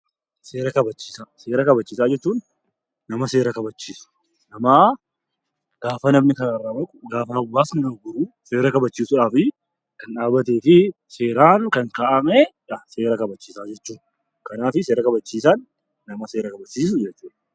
Seera kabachiisaa Seera kabachiisaa jechuun nama seera kabachiisu, nama gaafa namni karaarraa goru